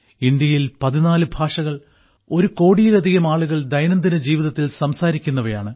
ഇവയിൽ 14 ഭാഷകൾ ഒരു കോടിയിലധികം ആളുകൾ ദൈനംദിന ജീവിതത്തിൽ സംസാരിക്കുന്നവയാണ്